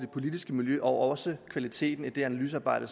politiske miljø og også kvaliteten af det analysearbejde